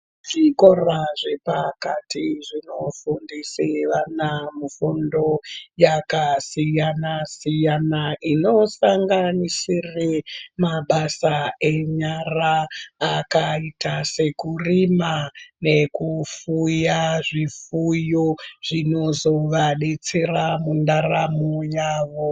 Zvikora zvepakati zvinofundise vana fundo yakasiyana-siyana inosanganisire mabasa enyara akaita sekurima nekufuya zvifuyo zvinozovadetsera mundaramo yavo.